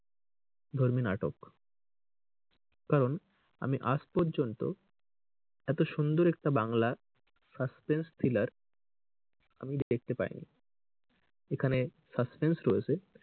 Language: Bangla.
ধর্মী নাটক কারণ আমি আজ পর্যন্ত এত সুন্দর বাংলা suspense thriller আমি কিন্তু দেখতে পাইনি। এখানে suspense রয়েছে,